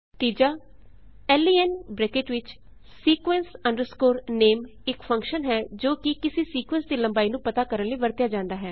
ਤੀਜਾ len bracket ਵਿਚ sequence name ਇੱਕ ਫੰਕਸ਼ਨ ਹੈ ਜੋ ਕਿ ਕਿਸੀ ਸੀਕੁਏਂਸ ਦੀ ਲੰਬਾਈ ਨੂੰ ਪਤਾ ਕਰਨ ਲਈ ਵਰਤਿਆ ਜਾਂਦਾ ਹੈ